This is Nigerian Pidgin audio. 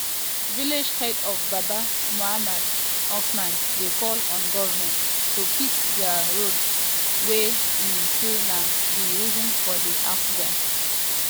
village head of babba muhammad usman dey call on goment to fix dia bad road wey e um say na um di reason for di accident.